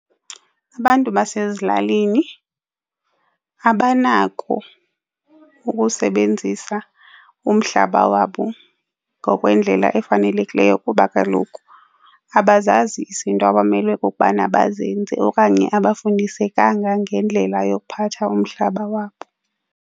Abantu basezilalini abanako ukusebenzisa umhlaba wabo ngokwendlela efanelekileyo kuba kaloku abazazi izinto abamele ukubana bazenze okanye abafundisekanga ngendlela yokuphatha umhlaba wabo.